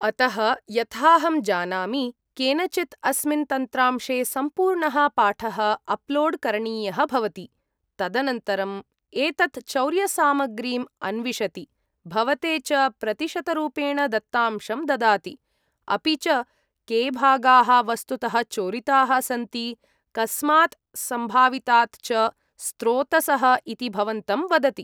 अतः, यथाहं जानामि, केनचित् अस्मिन् तन्त्रांशे सम्पूर्णः पाठः अप्लोड् करणीयः भवति। तदनन्तरं एतत् चौर्यसामग्रीम् अन्विशति, भवते च प्रतिशतरूपेण दत्तांशं ददाति। अपि च के भागाः वस्तुतः चोरिताः सन्ति, कस्मात् सम्भावितात् च स्रोतसः इति भवन्तं वदति।